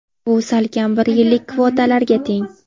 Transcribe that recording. Bu salkam bir yillik kvotalarga teng.